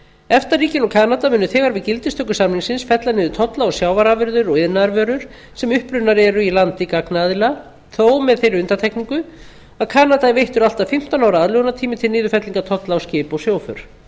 efta ríkin og kanada munu þegar við gildistöku samningsins fella niður tolla á sjávarafurðir og iðnaðarvörur sem upprunnar eru í landi gagnaðila þó með þeirri undantekningu að kanada er veittur allt að fimmtán ára aðlögunartími til niðurfellingar tolla á skip og sjóför samningurinn